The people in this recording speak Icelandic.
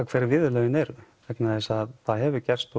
hver viðurlögin eru vegna þess að það hefur gerst